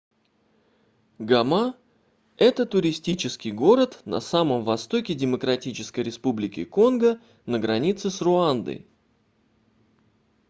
гома это туристический город на самом востоке демократической республики конго на границе с руандой